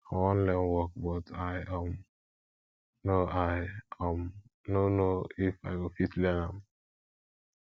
i wan learn work but i um no i um no know if i go fit learn am